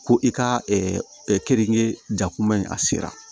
Ko i ka keninge jakuma in a sera